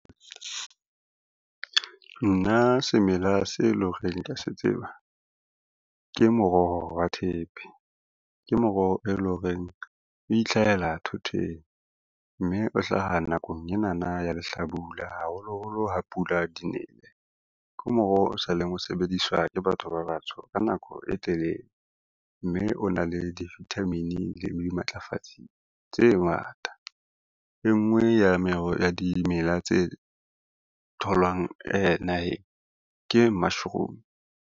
Nna semela se e lo reng kea se tseba, ke moroho wa thepe, ke moroho e lo reng o itlhahela thoteng, mme o hlaha nakong enana ya lehlabula haholoholo ha pula di nele. Ke moroho o sa leng o sebediswa ke batho ba batsho ka nako e telele, mme o na le di-vitamin le dimatlafatsi tse ngata. E ngwe ya dimela tse tholwang naheng ke mushroom.